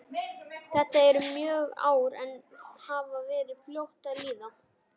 Þetta eru mörg ár en hafa verið fljót að líða.